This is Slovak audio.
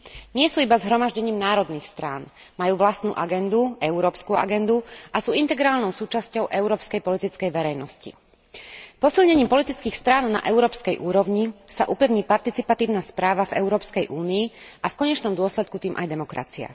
Nie sú iba zhromaždením národných strán. Majú vlastnú agendu, európsku agendu, a sú integrálnou súčasťou európskej politickej verejnosti. Posilnením politických strán na európskej úrovni sa upevní participatívna správa v Európskej únii a v konečnom dôsledku tým aj demokracia.